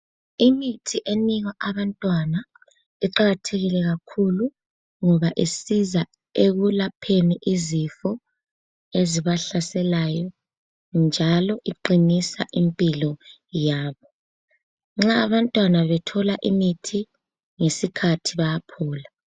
Imithi enikwa abantwana iqakathekile kakhulu ngoba isiza ekulapheni izifo ezibahlaselayo njalo eqinisa impilo yabo. Nxa abantwana bethola imithi ngesikhathi bayakhula.